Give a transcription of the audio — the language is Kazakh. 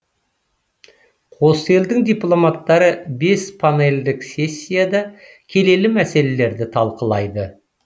қос елдің дипломаттары бес панельдік сессияда келелі мәселелерді талқылайды